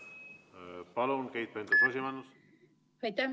Palun, Keit Pentus-Rosimannus!